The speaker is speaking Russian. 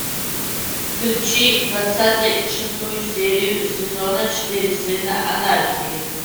включи двадцатый шестую серию сезона четыре сына анархии